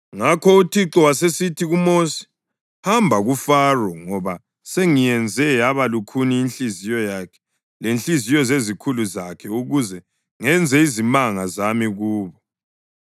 Ngakho uThixo wasesithi kuMosi, “Hamba kuFaro, ngoba sengiyenze yaba lukhuni inhliziyo yakhe lezinhliziyo zezikhulu zakhe ukuze ngenze izimanga zami kubo